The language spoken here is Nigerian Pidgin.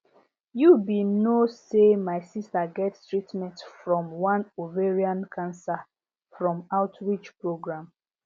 you be no say my sister get treatment from one ovarian cancer from outreach program